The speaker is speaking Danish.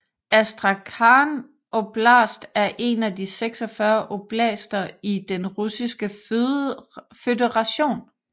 Astrakhan oblast er en af 46 oblaster i Den Russiske Føderation